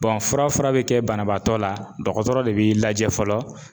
fura fura be kɛ banabaatɔ la dɔgɔtɔrɔ de b'i lajɛ fɔlɔ